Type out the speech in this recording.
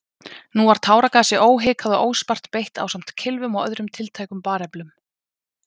Nú var táragasi óhikað og óspart beitt ásamt kylfum og öðrum tiltækum bareflum.